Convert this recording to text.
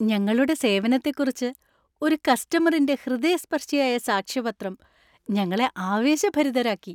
ഞങ്ങളുടെ സേവനത്തെക്കുറിച്ച് ഒരു കസ്റ്റമറിന്‍റെ ഹൃദയസ്പർശിയായ സാക്ഷ്യപത്രം ഞങ്ങളെ ആവേശഭരിതരാക്കി.